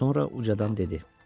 Sonra ucadan dedi: